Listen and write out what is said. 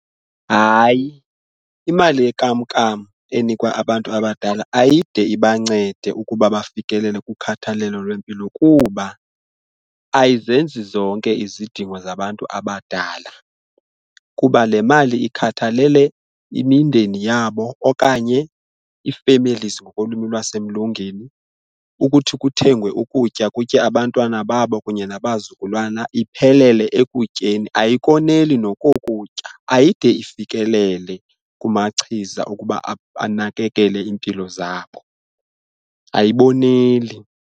Hayi, imali yekamkam enikwa abantu abadala ayide ibancede ukuba bafikelele kukhathalelo lwempilo kuba ayizenzi zonke izidingo zabantu abadala, kuba le mali ikhathalele imindeni yabo okanye ii-families ngokolwimi lwasemlungini ukuthi kuthengwe ukutya kutye abantwana babo kunye nabazukulwana iphelele ekutyeni ayikoneli nokokutya ayide ifikelele kumachiza okuba anakekele iimpilo zabo, ayiboneli.